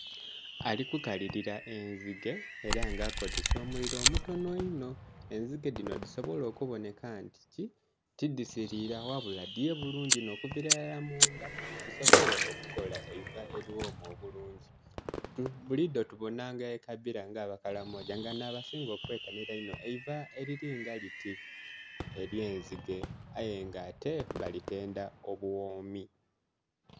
Ali kukalilila enzige era nga akozesa omuliro obutonho inho, enzige dhino dhisoble okubanheka nti ti dhisilila ghabula dhiye bulungi okuvila irala mu ndha dhisoble okukola eiva obulungi. Bulidho tubonha nga ekabira nga abakalamoja nga nha basinga okwetanhira einho eiva erilinga liti ekye nzige aye nga ate balitendha obughomi.